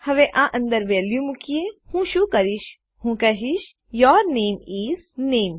હવે આ અંદર વેલ્યુ મુકીએ હું શું કરીશ હું કહીશ યૂર નામે ઇસ નામે